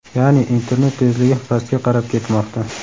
ya’ni internet tezligi pastga qarab ketmoqda.